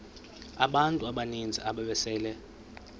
abantu abaninzi ababesele